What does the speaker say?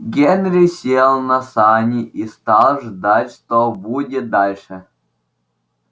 генри сел на сани и стал ждать что будет дальше